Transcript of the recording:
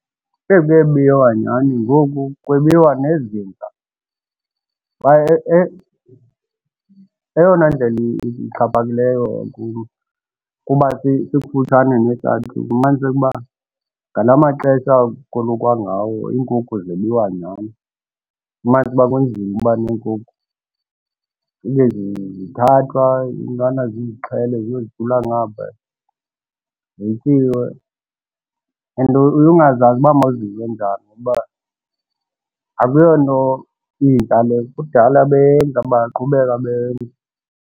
Eyi kuye biwa nyhani ngoku kwebiwa nezinja, kwaye eyona ndlela ixhaphakileyo kum kuba sikufutshane nehlathi kufuniseke uba ngalaa maxesha okolukwa ngawo iinkukhu zebiwa nyhani. Ufumanise uba kunzima uba neenkukhu. Fike zithathwa, iintwana zizixhele ziye zijula ngaphaya, zityiwe and uye ungazazi uba mawuzive njani ngoba akuyonto intsha le. Kudala beyenza bayaqhubeka beyenza.